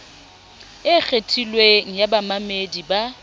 e kgethilweng ya bamamedi ba